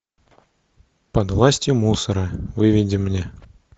под властью мусора выведи мне